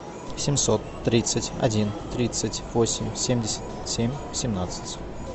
семьсот тридцать один тридцать восемь семьдесят семь семнадцать